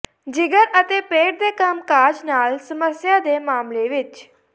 ਜਿਗਰ ਅਤੇ ਪੇਟ ਦੇ ਕੰਮਕਾਜ ਨਾਲ ਸਮੱਸਿਆ ਦੇ ਮਾਮਲੇ ਵਿਚ